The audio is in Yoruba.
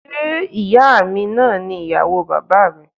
Ṣé ìyáa mi náà ni ìyàwó bàbáà mi?